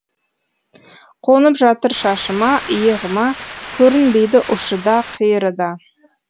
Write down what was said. қонып жатыр шашыма иығыма көрінбейді ұшы да қиыры да